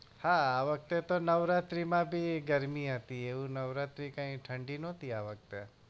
હા હવે તો નવરાત્રી માં બી ગરમી હતી એવું નવરાત્રી કઈ ઠંડી ના હતી આ વખતે